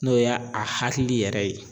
N'o ye a hakili yɛrɛ ye.